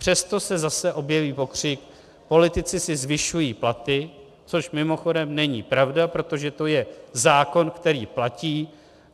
Přesto se zase objeví pokřik - politici si zvyšují platy, což mimochodem není pravda, protože to je zákon, který platí.